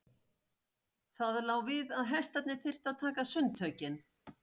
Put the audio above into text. Það lá við að hestarnir þyrftu að taka sundtökin.